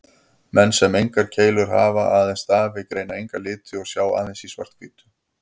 Menn sem engar keilur hafa, aðeins stafi, greina enga liti og sjá aðeins í svart-hvítu.